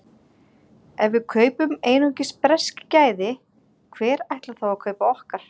Ef við kaupum einungis bresk gæði, hver ætlar þá að kaupa okkar?